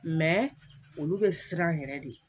olu bɛ siran yɛrɛ de